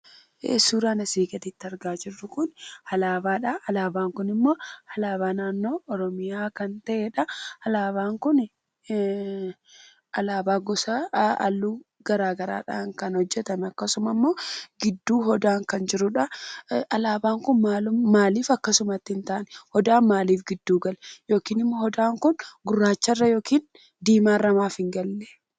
Suuraan asii gaditti argaa jirru kun alaabaadha. Alaabaan kunimmoo alaabaa naannoo Oromiyaa kan ta'edha. Alaabaan kun halluu gosa garaagaraadhaan kan hojjatame akkasuma immoo gidduu odaan kan jirudha. Alaabaan kun maaliif akkasumatti hin taane odaan maaliif gidduu galee? Yookiin immoo odaan kun gurraacharra yookiin diimaarra maaf hin gallee?